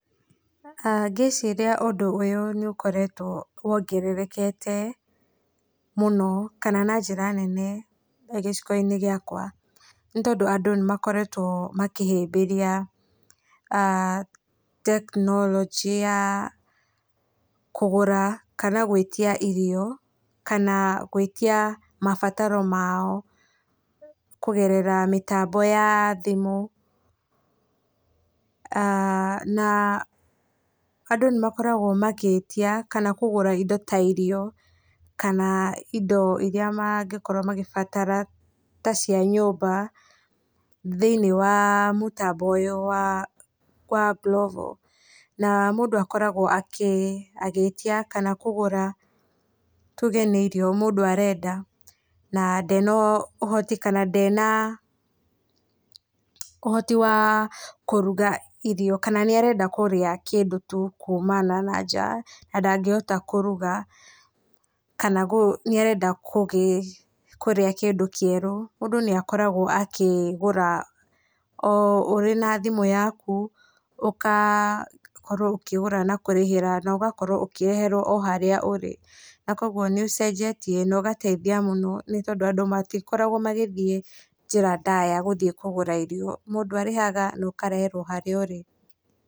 Aah ngĩciria ũndũ ũyũ nĩ ũkoretwo wongererekete mũno kana na njĩra nene gicigo inĩ gĩakwa nĩ tondũ andũ nĩmakoretwo makĩhĩmbiria aah tekinologĩ ya kũgũra kana gwĩtia irio kana gwĩtia mabataro mao kũgerera mĩtambo yao ya thimũ aah na andũ nĩmakoragwo magĩtia kana kũgũra indo ta irio kana indo ĩrĩa mangĩkorwo magĩbatara ta cia nyũmba thĩinĩ wa mũtambo ũyũ wa Glovo na mũndũ akoragwo akĩ agĩtia kana kũgũra tũge nĩ irio mũndũ arenda na nde no ũhoti kana ndena ũhoti wakũrũga irio kana nĩ arenda kũrĩa kĩndũ tũ kũmana na nja na nadangĩhota kũrũga kana gũ nĩarenda kũrĩa kĩndũ kĩerũ na mũndũ nĩ akoragwo akĩgũkĩgũra o ũrĩ na thimũ yakũ ũgakorwo ũkĩgũra nakũrĩhĩra na ũgakorwo ũkĩreherwo o harĩa ũrĩ na kũogũo nĩ ũcenjetie na ũgateithia mũno nĩ tondũ matĩkoragwo magĩthiĩ njĩra ndaya magĩthiĩ kũgũra irio na mũndũ arĩhaga na ũkareherwo harĩa ũrĩ.